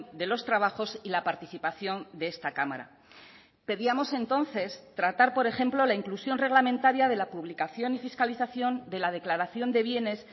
de los trabajos y la participación de esta cámara pedíamos entonces tratar por ejemplo la inclusión reglamentaria de la publicación y fiscalización de la declaración de bienes